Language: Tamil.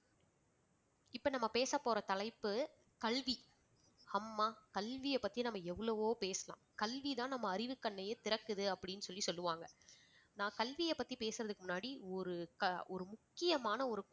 இப்ப நம்ம பேச போற தலைப்பு கல்வி. அம்மா கல்வியை பத்தி நம்ம எவ்வளவோ பேசலாம் கல்வி தான் நம்ம அறிவுக்கண்ணையே திறக்குது அப்படின்னு சொல்லி சொல்லுவாங்க. நான் கல்வியபத்தி பேசறதுக்கு முன்னாடி ஒரு க~ ஒரு முக்கியமான ஒரு